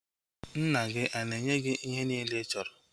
Nna gị ana-enye gị ihe niile ị chọrọ